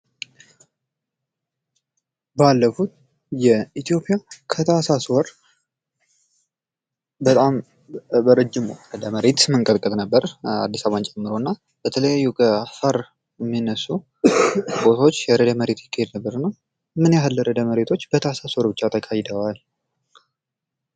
ባለፉት የኢትዮጵያ ከታህሳስ ወር በጣም በረጅሙ የመሬት መንቀጥቀጥ ነበረ አዲስ አበባን ጨምሮ እና በተለያዩ አፋር የሚነሱ ቦታዎች ርእደ መሬት ይካሄድ ነበር እና ምን ያህል ርእደ መሬቶች በታኅሳስ ወር ብቻ ተካሂደዋል?